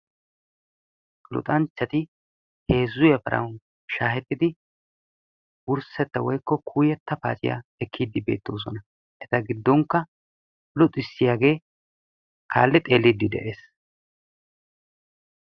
Luxanchchatti heezzu yafarawu shahettidi wursetta woykko kuuyetta paaciyaa ekidi beettosona etagidonikka luxissiyaage kaalli xeelidi dees.